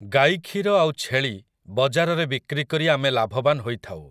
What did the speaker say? ଗାଈ କ୍ଷୀର ଆଉ ଛେଳି ବଜାରରେ ବିକ୍ରି କରି ଆମେ ଲାଭବାନ ହୋଇଥାଉ ।